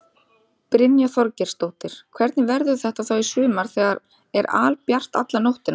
Brynja Þorgeirsdóttir: Hvernig verður þetta þá í sumar þegar það er albjart alla nóttina?